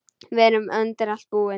Við erum undir allt búin.